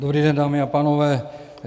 Dobrý den, dámy a pánové.